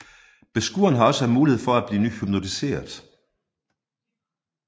Beskueren har også mulighed for at bliver hypnotiseret